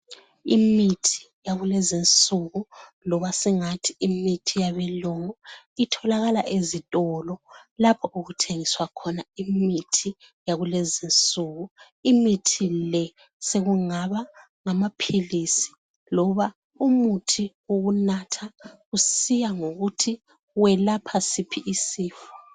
Imithi yakulezinsuku, loba singathi imithi yabelungu, itholakala ezitolo lapho okuthengiswa khona imithi yakulezinsuku. Imithi le sekungaba ngamaphilisi loba umuthi wokunatha kusiya ngokuthi welapha siphi isifo.